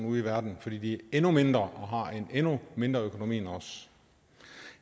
ude i verden fordi de er endnu mindre og har en endnu mindre økonomi end os